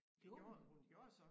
Gjorde hun det?